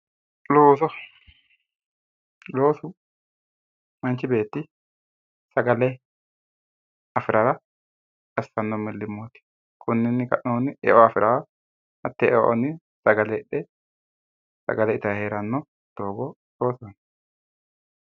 Looso, loosu manchi beetti sagale afirara assanno millimmooti. Koninnni ka'nohunni eo afiraa hattee eonni sagale hidhe sagale itayi heeranno doogo loosoho yinanni.